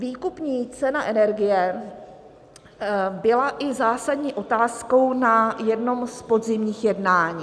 Výkupní cena energie byla zásadní otázkou i na jednom z podzimních jednání.